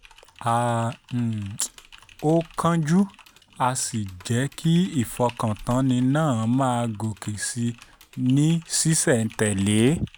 a um ò kánjú a sì jẹ́ kí ìfọkàntánni náà máa gòkè sí i ní ṣísẹ̀-n-tẹ̀lé